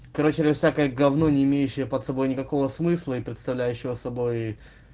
короче лью всякое гавно не имеющее под собой никакого смысла и представляющего собой